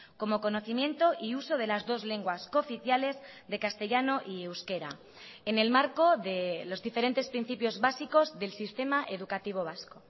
como conocimiento y uso de las dos lenguas cooficiales de castellano y euskera en el marco de los diferentes principios básicos del sistema educativo vasco